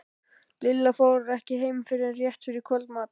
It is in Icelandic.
Lilla fór ekki heim fyrr en rétt fyrir kvöldmat.